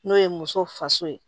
N'o ye muso faso ye